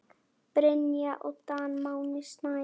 Brynja Dan og Máni Snær.